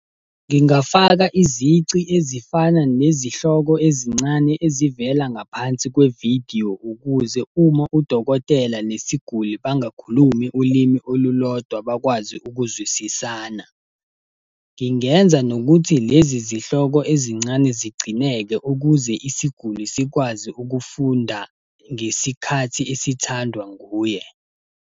Ngingafaka izici ezifana nezihloko ezincane ezivela ngaphansi kwe-video ukuze uma udokotela nesiguli bangakhulumi ulimi olulodwa bakwazi ukuzwisisana. Ngingenza nokuthi lezizihloko ezincane zigcineke ukuze isiguli sikwazi ukufunda ngesikhathi esithandwa nguye.